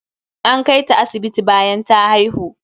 An kai ta asibiti bayan ta haihu.